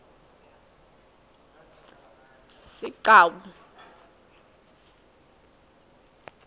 sigcawu